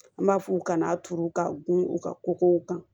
An b'a f'u kana turu ka gun u ka kokow kan